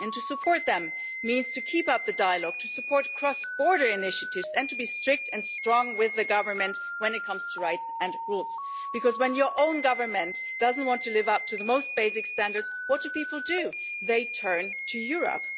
Supporting them means keeping up the dialogue, supporting cross border initiatives and taking a strict and strong line with the Government when it comes to rights and rules, for when their own government does not want to live up to the most basic standards what do people do? They turn to Europe.